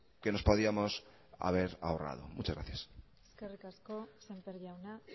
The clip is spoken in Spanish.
que nos podíamos haber ahorrado muchas gracias eskerrik asko sémper jauna